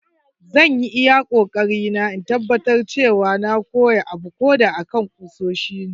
Zan yi iyakoarina in tabbatar cewa na koya abuko da akan kusoshi ne.